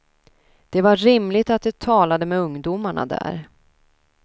Det var rimligt att de talade med ungdomarna där.